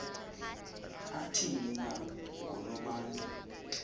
athini na ngonobantu